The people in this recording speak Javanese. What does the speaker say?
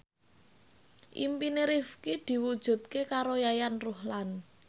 impine Rifqi diwujudke karo Yayan Ruhlan